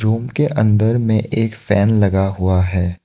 उनके अंदर में एक फैन लगा हुआ है।